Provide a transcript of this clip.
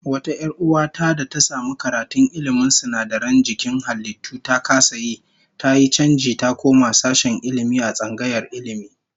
Wata 'yar uwa ta da ta samu karatun ilmin sinadaran jikin halittu, ta kasa yi, tayi chanji ta koma sashen Ilmi a tsangayar Ilmi